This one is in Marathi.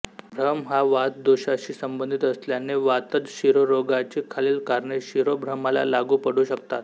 भ्रम हा वातदोषाशी संबंधित असल्याने वातज शिरोरोगाची खालील कारणे शिरोभ्रमाला लागू पडू शकतात